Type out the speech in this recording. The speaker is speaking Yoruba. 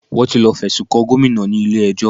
Wọ́n ti lọ fẹ̀sùn kan Gomina ní ilé ẹjọ́